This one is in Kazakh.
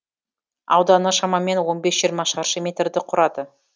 ауданы шамамен он бес жиырма шаршы метрді құрады